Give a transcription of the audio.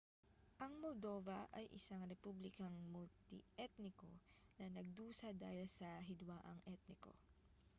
ang moldova ay isang republikang multi-etniko na nagdusa dahil sa hidwaang etniko